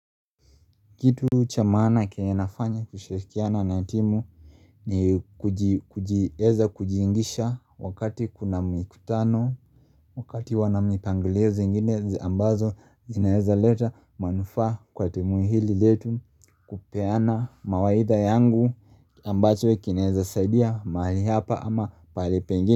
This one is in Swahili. Kitu cha maana kenye nafanya kushirikiana na timu ni kuji eza kuji ingisha wakati kuna mikutano wakati wanamnipangilio zinginezi ambazo inaeza leta manufa kwa temuhili letu kupeana mawaidha yangu ambacho kinaeza saidia mahali hapa ama palipengi.